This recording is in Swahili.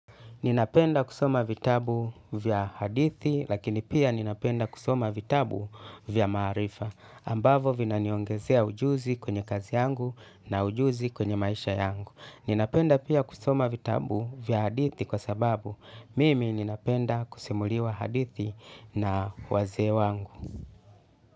Nina penda kusoma vitabu vya hadithi lakini pia ninapenda kusoma vitabu vya maarifa ambavyo vina niongezea ujuzi kwenye kazi yangu na ujuzi kwenye maisha yangu. Ninapenda pia kusoma vitabu vya hadithi kwa sababu mimi nina penda kusimuliwa hadithi na wazee wangu.